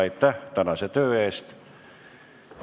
Aitäh tänase töö eest!